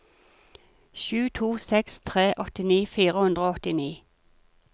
sju to seks tre åttini fire hundre og åttini